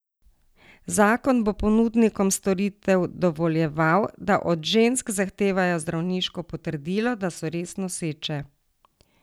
Zakon bo ponudnikom storitev dovoljeval, da od žensk zahtevajo zdravniško potrdilo, da so res noseče.